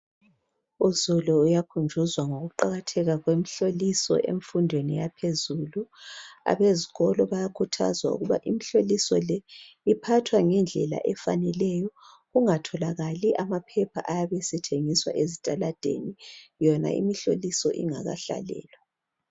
Uzulu uyakhunjuzwa ngokuqakatheka kwemihloliso emfundweni yaphezulu. Abezikolo bayakhuthazwa ukuba imihloliso le iphathwa ngendlela efaneleyo kungatholakali amaphepha ayabe esethengiswa ezitaladeni yona imihloliso ingakahlalelwa.